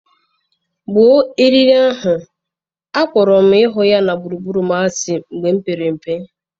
Gbuo arịrị ahụ, akpọrọ m ịhụ ya na gburugburu m asị mgbe m pere mpe.